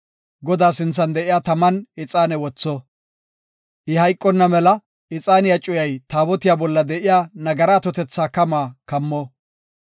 Godaa sinthan de7iya taman ixaane wotho. I hayqonna mela ixaaniya cuyay Taabotiya bolla de7iya nagara atotetha kamaa kammo.